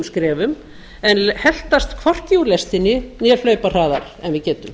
skrefum en heltast hvorki úr lestinni né hlaupa hraðar en við getum